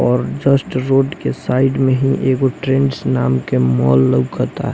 और जास्त रोड के साइड में ही एगो ट्रेंड्स माल लउकता--